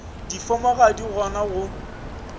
difomo ga di gona go